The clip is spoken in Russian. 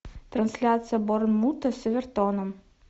трансляция борнмута с эвертоном